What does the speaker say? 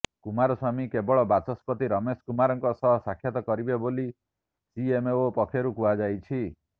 କୁମାରସ୍ୱାମୀ କେବଳ ବାଚସ୍ପତି ରମେଶ କୁମାରଙ୍କ ସହ ସାକ୍ଷାତ କରିବେ ବୋଲି ସିଏମଓ ପକ୍ଷରୁ କୁହାଯାଇଛି